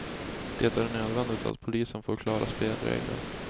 Det är nödvändigt att polisen får klara spelregler.